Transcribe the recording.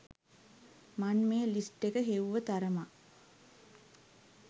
මන් මේ ලිස්ට් එක හෙව්ව තරමක්